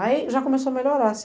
Aí já começou a melhorar.